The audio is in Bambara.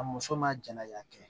A muso ma jɛnɛ ya kɛ